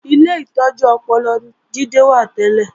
Ilé ìtọ́jú ọpọlọ ni Jídé wà tẹ́lẹ̀